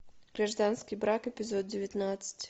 гражданский брак эпизод девятнадцать